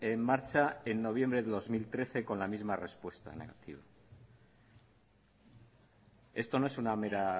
en marcha en noviembre de dos mil trece con la misma respuesta negativa esto no es una mera